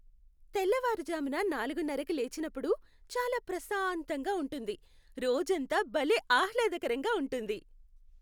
తెల్లవారుజామున నాలుగున్నరకి లేచినప్పుడు చాలా ప్రశాంతంగా ఉంటుంది, రోజంతా భలే ఆహ్లాదకరంగా ఉంటుంది.